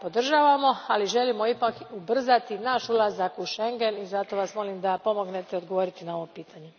Dakle, podržavamo, ali želimo ipak ubrzati naš ulazak u Schengen, i zato Vas molim da pomognete odgovoriti na ovo pitanje.